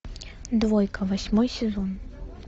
двойка восьмой сезон